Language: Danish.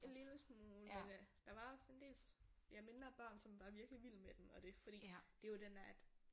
En lille smule men øh der var også en del ja mindre børn som var virkelig vild med den og det er fordi det jo den der at